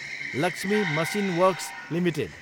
Lakshmi machine works Ltd